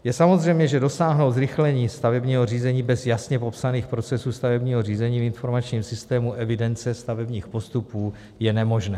Je samozřejmé, že dosáhnout zrychlení stavebního řízení bez jasně popsaných procesů stavebního řízení v informačním systému evidence stavebních postupů je nemožné.